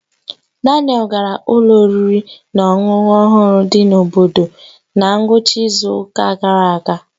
Daniel gara ụlọ oriri na ọṅụṅụ ọhụrụ dị n'obodo na ngwụcha izu ụka gara aga.